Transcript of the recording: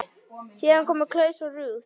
Síðar komu Claus og Ruth.